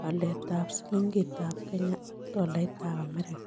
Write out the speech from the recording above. waletap silingiitap kenya ak tolaitap amerika